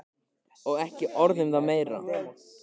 Og ekki orð um það meira!